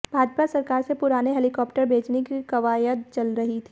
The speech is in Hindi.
भाजपा सरकार से पुराने हेलिकॉप्टर बेचने की कवायद चल रही थी